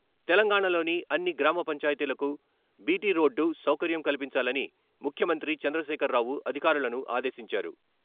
తెలంగాణలోని అన్ని గ్రామ పంచాయతీలకు బీటీ రోడ్డు సౌకర్యం కల్పించాలని ముఖ్యమంత్రి చంద్రశేఖర్రావు అధికారులను ఆదేశించారు.